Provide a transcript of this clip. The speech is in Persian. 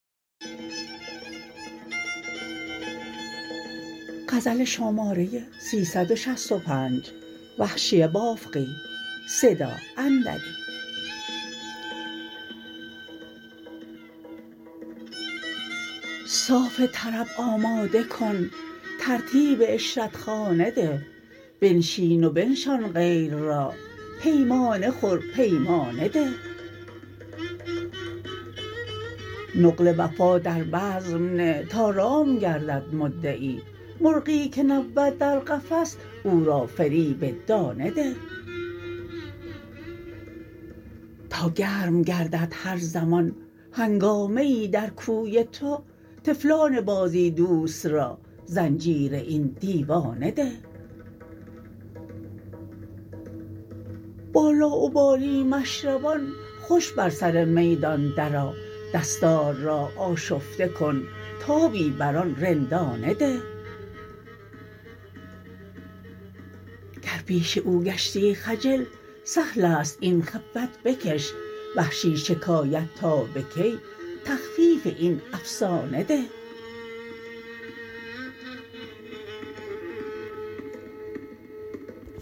صاف طرب آماده کن ترتیب عشرتخانه ده بنشین و بنشان غیر را پیمانه خور پیمانه ده نقل وفا در بزم نه تا رام گردد مدعی مرغی که نبود در قفس او را فریب دانه ده تا گرم گردد هر زمان هنگامه ای در کوی تو طفلان بازی دوست را زنجیر این دیوانه ده با لاابالی مشربان خوش بر سر میدان درآ دستار را آشفته کن تابی بر آن رندانه ده گر پیش او گشتی خجل سهل است این خفت بکش وحشی شکایت تا به کی تخفیف این افسانه ده